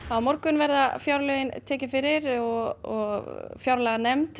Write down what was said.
á morgun verða fjárlögin tekin fyrir og fjárlaganefnd